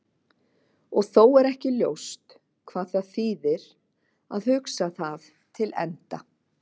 Og þó er ekki ljóst hvað það þýðir að hugsa það til enda.